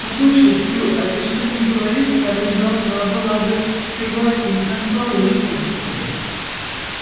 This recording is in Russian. послушай стю а ведь что ни говори скарлетт должна была бы пригласить нас поужинать